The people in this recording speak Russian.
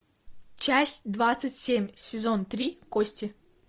часть двадцать семь сезон три кости